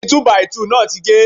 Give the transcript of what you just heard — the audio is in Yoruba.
Igi Túbàìtuù náà ti ge.